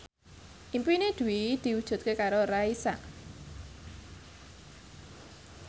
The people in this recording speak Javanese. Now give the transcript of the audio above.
impine Dwi diwujudke karo Raisa